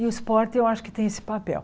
E o esporte eu acho que tem esse papel.